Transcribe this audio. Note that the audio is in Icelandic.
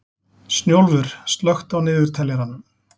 Snjólfur, slökktu á niðurteljaranum.